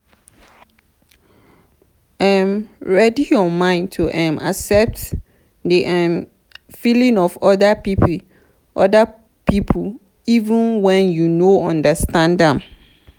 um ready your mind to um accept di um feelings of oda pipo even when you no understand am